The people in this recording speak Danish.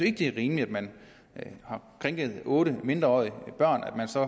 ikke det er rimeligt at man har krænket otte mindreårige børn og så